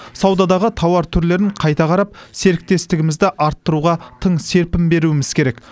саудадағы тауар түрлерін қайта қарап серіктестігімізді арттыруға тың серпін беруіміз керек